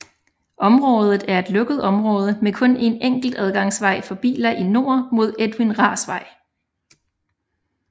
Området er et lukket område med kun en enkelt adgangsvej for biler i nord mod Edwin Rahrs Vej